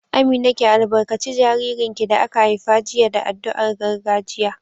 Amina, ki albarkaci jaririn da aka haifa jiya da addu'ar gargajiya